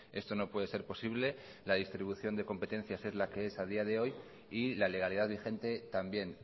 esto no puede ser posible la distribución de competencias es la que es a día de hoy y la legalidad vigente también